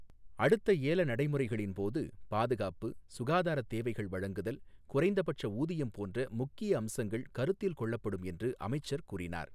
அடுத்த ஏல நடைமுறைகளின்போது பாதுகாப்பு, சுகாதாரத்தேவைகள் வழங்குதல், குறைந்தப்பட்ச ஊதியம் போன்ற முக்கிய அம்சங்கள் கருத்தில் கொள்ளப்படும் என்று அமைச்சர் கூறினார்.